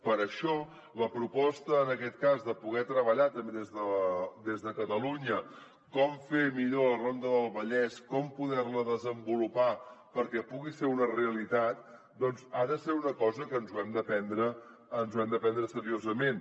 per això la proposta en aquest cas de poder treballar també des de catalunya com fer millor la ronda del vallès com poder la desenvolupar perquè pugui ser una realitat doncs ha de ser una cosa que ens l’hem de prendre seriosament